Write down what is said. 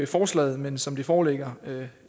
forslaget men som det foreligger